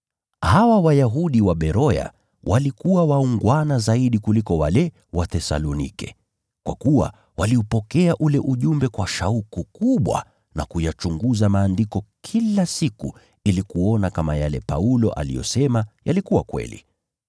Hawa Waberoya walikuwa waungwana zaidi kuliko wale wa Thesalonike, kwa kuwa waliupokea ule ujumbe kwa shauku kubwa na kuyachunguza Maandiko kila siku ili kuona kama yale Paulo aliyosema yalikuwa kweli.